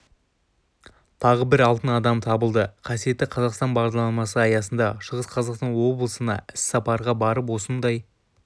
тағы бір алтын адам табылды қасиетті қазақстан бағдарламасы аясында шығыс қазақстан облысына іссапарға барып осындай